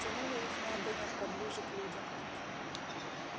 тянуло их на огонёк поближе к людям